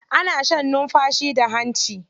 Ana shan numfashi da hanci.